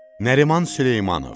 Nəriman Süleymanov.